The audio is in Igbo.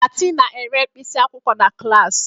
Fati na-ere mkpịsị akwụkwọ na klas.